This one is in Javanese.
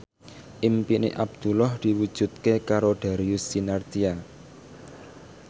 impine Abdullah diwujudke karo Darius Sinathrya